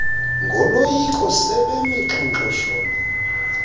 ngoloyiko sebemi xhonxosholo